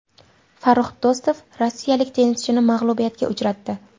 Farrux Do‘stov rossiyalik tennischini mag‘lubiyatga uchratdi.